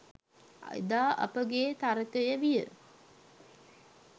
එදා අපගේ තර්කය විය.